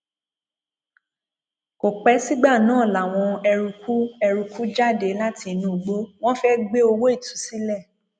kò pẹ sígbà náà làwọn eruùkù eruùkù jáde láti inú igbó wọn fẹẹ gbé owó ìtúsílẹ